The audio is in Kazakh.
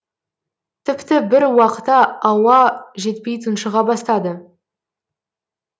тіпті бір уақта ауа жетпей тұншыға бастады